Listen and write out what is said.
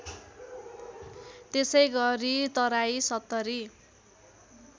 त्यसैगरी तराई ७०